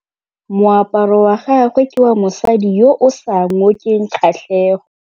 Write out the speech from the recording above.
Moaparô wa gagwe ke wa mosadi yo o sa ngôkeng kgatlhegô.